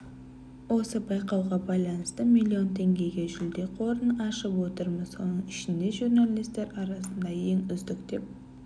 осы байқауға байланысты миллион теңгеге жүлде қорын ашып отырмыз соның ішінде журналистер арасында ең үздік деп